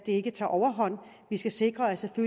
ikke tager overhånd vi skal sikre at det